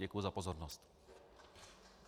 Děkuji za pozornost.